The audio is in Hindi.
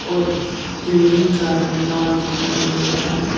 और बिल्डिंग का रंग लाल दिखाई दे रहा है।